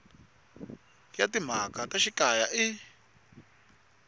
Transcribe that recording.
ya timhaka ta xikaya i